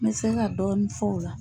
N bɛ se ka dɔɔni fɔ o la.